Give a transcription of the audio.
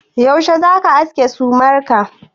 Yaushe za ka aske sumar ka?